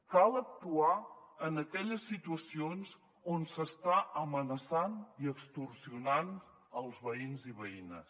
cal actuar en aquelles situacions on s’estan amenaçant i extorsionant els veïns i veïnes